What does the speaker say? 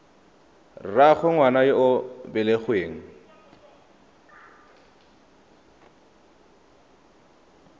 rraagwe ngwana yo o belegweng